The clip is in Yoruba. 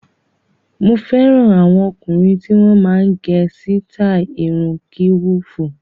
Mo fẹ́ràn àwọn ọkùnrin tí wọ́n máa ń gẹ sítáì irun kíwùfù.